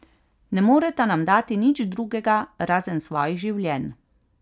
Ne moreta nam dati nič drugega razen svojih življenj.